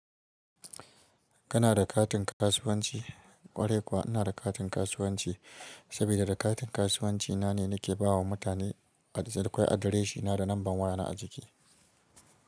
Kana da katin kasuwanci? Kwarai kuwa ina da katin kasuwanci sabida da katin kasuwanci na ne nake ba wa mutane adres. Akwai adireshina da numban wayana a jiki.